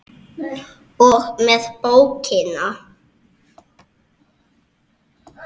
og með bókina!